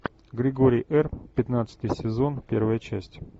григорий р пятнадцатый сезон первая часть